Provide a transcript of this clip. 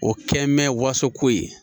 O kɛ mɛ waso ko ye